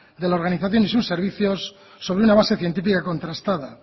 de la organización y sus servicios sobre una base científica contrastada